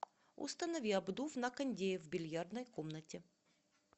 установи обдув на кондее в бильярдной комнате